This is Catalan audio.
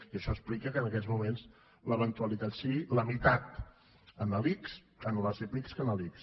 i això explica que en aquests moments l’eventualitat sigui la meitat en les epic que en l’ics